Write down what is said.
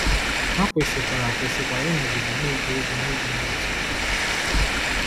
Ha kwesịkwara kwesịkwara ịnọgide na-eje ozi n’ịdị n’otu.